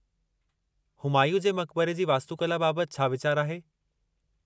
हुमायूं जे मक़बरे जी वास्तुकला बाबति छा वीचारु आहे?